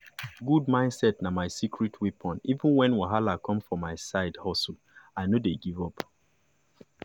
good mindset na my secret weapon even when wahala come for my side hustle i no dey give up.